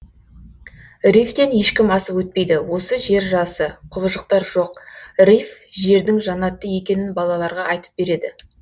рифтен ешкім асып өтпейді осы жержасы құбыжықтар жоқ риф жердің жанаты екенін балаларға айтып береді